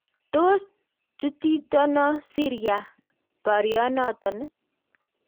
Tos chutitono Syria baryonoton?